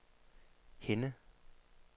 Henne